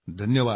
धन्यवाद